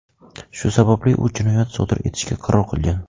Shu sababli u jinoyat sodir etishga qaror qilgan.